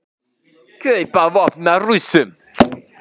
Kaupa vopn af Rússum